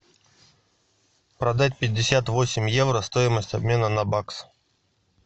продать пятьдесят восемь евро стоимость обмена на бакс